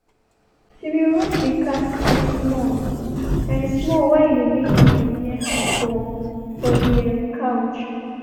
she been rub the cat cheek small um small while e dey make noise near her for for the um couch.